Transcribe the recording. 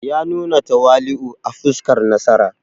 Ya nuna tawali’u a fuskar nasara.